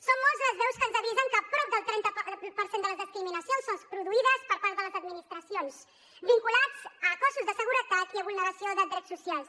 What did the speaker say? són moltes les veus que ens avisen que prop del trenta per cent de les discriminacions són produïdes per part de les administracions vinculades a cossos de seguretat i a vulneració de drets socials